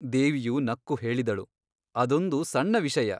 ದೇವಿಯು ನಕ್ಕು ಹೇಳಿದಳು ಅದೊಂದು ಸಣ್ಣ ವಿಷಯ.